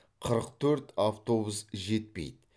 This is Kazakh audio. қырық төрт автобус жетпейді